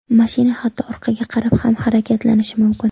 Mashina hatto orqaga qarab ham harakatlanishi mumkin.